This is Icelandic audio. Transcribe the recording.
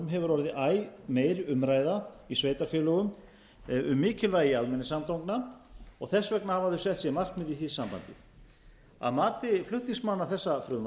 hefur orðið æ meiri umræða í sveitarfélögum um mikilvægi almenningssamgangna og þess vegna hafa þau sett sér markmið því sambandi að mati flutningsmanna þessa frumvarps